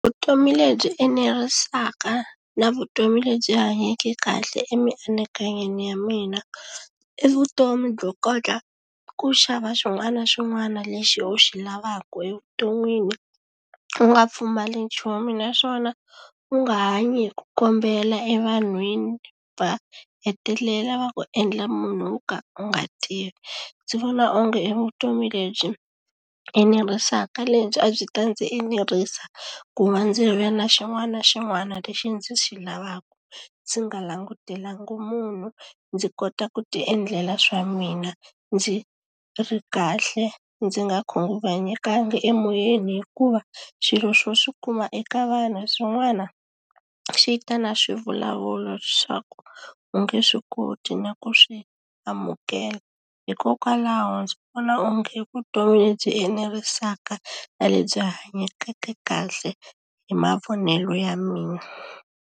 Vutomi lebyi enerisaka na vutomi lebyi hanyeke kahle emianakanyweni ya mina i vutomi byo kota ku xava xin'wana na xin'wana lexi u xi lavaka evuton'wini u nga pfumali nchumu naswona u nga hanyi hi ku kombela evanhwini va hetelela va ku endla munhu wo ka u nga tirhi ndzi vona onge i vutomi lebyi enerisaka lebyi a byi ta ndzi enerisa ku va ndzi ri na xin'wana na xin'wana lexi ndzi xi lavaka ndzi nga langutelanga munhu ndzi kota ku ti endlela swa mina ndzi ri kahle ndzi nga khunguvanyeka emoyeni hikuva xilo xo xi kuma eka vanhu swin'wana xi ta na swivulavulo swa ku u nge swi koti na ku swi amukela hikokwalaho ndzi vona onge i vutomi lebyi enerisaka na lebyi hanyake kahle hi mavonelo ya mina.